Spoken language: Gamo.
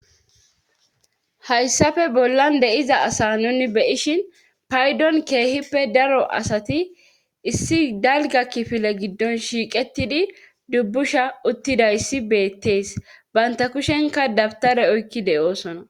Hayssappe bollan de7iza asa nuni beyishin paydon keehippe daro asati issi dalga kifile giddon shiiqettidi dubbusha uttidayssi beettees banta kushenka dabtare oykki de7oosona.